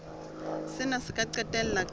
sena se ka qetella ka